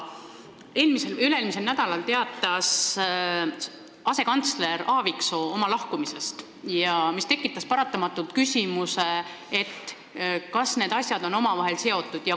Eelmisel või üle-eelmisel nädalal teatas asekantsler Aaviksoo oma lahkumisest, mis tekitas paratamatult küsimuse, kas need asjad on omavahel seotud.